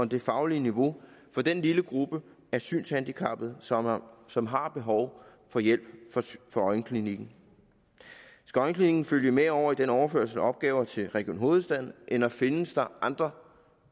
det faglige niveau for den lille gruppe af synshandicappede som har som har behov for hjælp fra øjenklinikken skal øjenklinikken følge med over i den overførsel af opgaver til region hovedstaden eller findes der andre